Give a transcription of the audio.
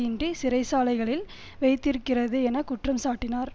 இன்றி சிறைச்சாலைகளில் வைத்திருக்கிறது என குற்றம் சாட்டினார்